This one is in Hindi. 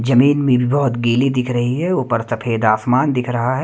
जमीन में भी बहोत गीली दिख रही है ऊपर सफेद आसमान दिख रहा है।